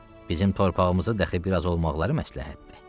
Bizim torpağımızda dəxi biraz olmaqları məsləhətdir.